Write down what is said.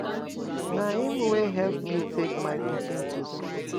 Na him wey help me take my pikin to school.